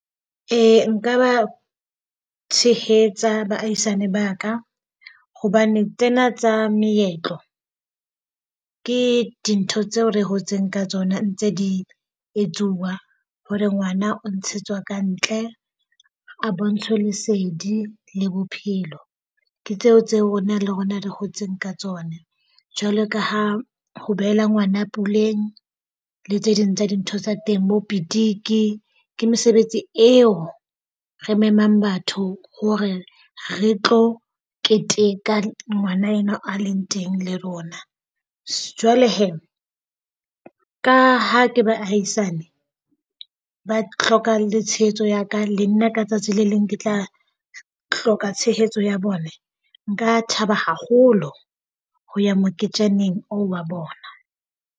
Ee nka ba tshehetsa baahisane ba ka. Hobane tsena tsa meetlo ke dintho tseo re hotseng ka tsona ntse di etsuwa hore ngwana o ntshetswa ka ntle a bontshwe lesedi le bophelo. Ke tseo tseo rona le rona re hotseng ka tsona jwalo ka ha ho behela ngwana puleng le tse ding tsa dintho tsa teng bo petiki. Ke mesebetsi eo re memang batho hore re tlo keteka ngwana enwa a leng teng le rona. Jwale hee ka ha ke bahaisane ba tlhoka le tshehetso ya ka le nna ka tsatsi le leng ke tla tlhoka tshehetso ya bone. Nka thaba haholo ho ya moketjaneng oo wa bona.